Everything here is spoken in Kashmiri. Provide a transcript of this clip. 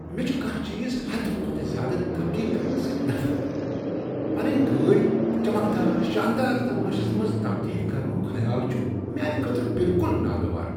مےٚ چھےٚ کانٛہہ چیٖز حدٕ کھوتہٕ زیادٕ تبدیل کرنس سۭتۍ نفرت۔ پنٕنۍ گٲڑۍ چمکدار، شاندار تماشس منز تبدیل کرنک خیال چھ میانہ خٲطرٕ بالکل ناگوار۔